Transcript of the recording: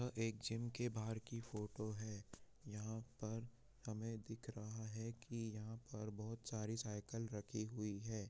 यह एक जिम के बाहर की फोटो है यहां पर हमें दिख रहा है कि यहां पर बहुत सारी साइकिल रखी हुई हैं।